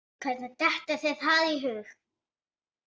Hvernig dettur þér það í hug?